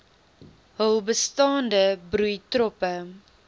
hul bestaande broeitroppe